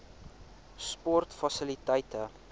sportfasiliteite